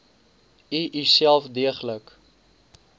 u uself deeglik